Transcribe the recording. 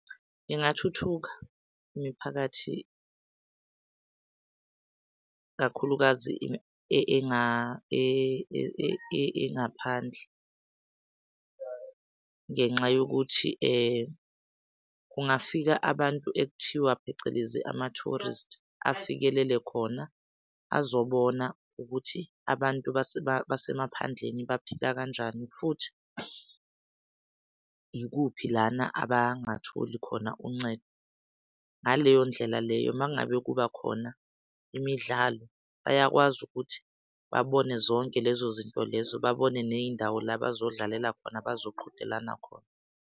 Ingathuka imiphakathi kakhulukazi engaphandle ngenxa yokuthi kungafika abantu ekuthiwa phecelezi ama-tourist afikelele khona azobona ukuthi abantu base basemaphandleni baphila kanjani futhi ikuphi lana abangatholi khona uncedo. Ngaleyo ndlela leyo uma ngabe kuba khona imidlalo, bayakwazi ukuthi babone zonke lezo zinto lezo babone ney'ndawo la bazodlalela khona bazoqhudelana khona.